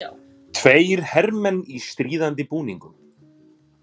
Tveir hermenn í stríðandi búningum.